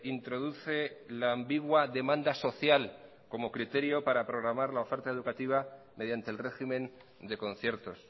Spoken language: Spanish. introduce la ambigua demanda social como criterio para programar la oferta educativa mediante el régimen de conciertos